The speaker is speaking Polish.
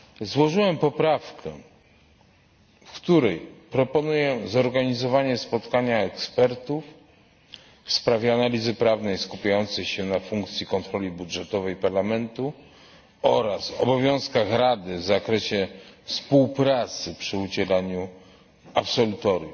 Złożyłem poprawkę, w której proponuję zorganizowanie spotkania ekspertów w sprawie analizy prawnej skupiającej się na funkcji kontroli budżetowej Parlamentu oraz obowiązkach Rady w zakresie współpracy przy udzielaniu absolutorium.